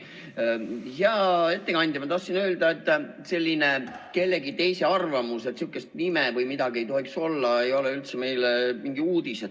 Hea ettekandja, ma tahtsin öelda, et selline kellegi teise arvamus, et sihukest nime või midagi ei tohiks olla, ei ole üldse mingi uudis.